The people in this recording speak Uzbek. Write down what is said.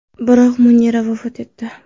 Biroq Munira vafot etdi.